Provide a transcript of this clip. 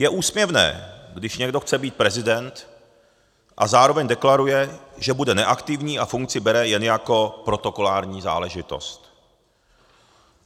Je úsměvné, když někdo chce být prezident a zároveň deklaruje, že bude neaktivní a funkci bere jen jako protokolární záležitost.